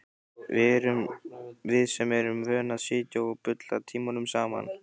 Við sem erum vön að sitja og bulla tímunum saman.